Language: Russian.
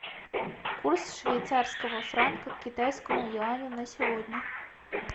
курс швейцарского франка к китайскому юаню на сегодня